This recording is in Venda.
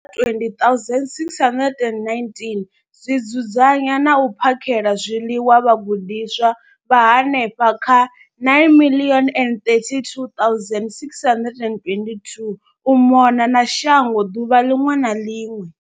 20 619 zwi dzudzanya na u phakhela zwiḽiwa vhagudiswa vha henefha kha 9 032 622 u mona na shango ḓuvha ḽiṅwe na ḽiṅwe.